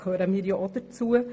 Dazu gehören wir ja auch.